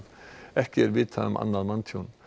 ekki er vitað um annað manntjón